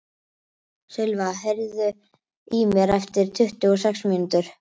Silva, heyrðu í mér eftir tuttugu og sex mínútur.